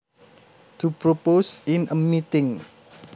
To propose in a meeting